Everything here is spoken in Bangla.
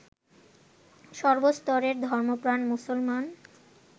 সর্বস্তরের ধর্মপ্রাণ মুসলমান